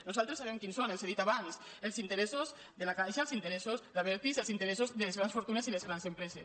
nosaltres sabem quins són els he dit abans els interessos de la caixa els interessos d’abertis els interessos de les grans fortunes i les grans empreses